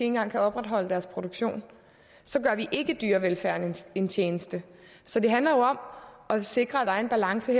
engang kan opretholde deres produktion så gør vi ikke dyrevelfærden en tjeneste så det handler jo om at sikre at der er en balance